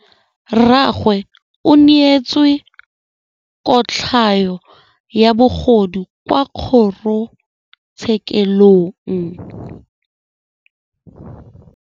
Rragwe o neetswe kotlhaô ya bogodu kwa kgoro tshêkêlông.